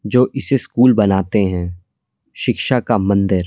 जो इसे स्कूल बनाते हैं शिक्षा का मंदिर--